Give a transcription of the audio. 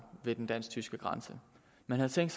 ved den dansk tyske grænse man havde tænkt